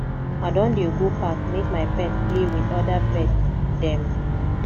i don dey go park make my pet play wit oda pet dem